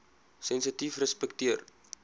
sensitiefrespekteer